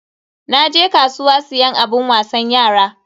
Naje kasuwa siyan abun wasan yara.